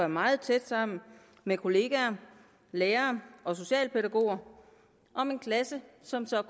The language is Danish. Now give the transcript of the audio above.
meget tæt sammen med kollegaer lærere og socialpædagoger om en klasse som